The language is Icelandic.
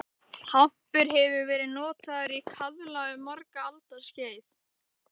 Hampur hefur verið notaður í kaðla um margra alda skeið.